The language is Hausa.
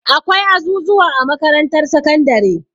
Akwai azuzuwa a makarantar sakandare.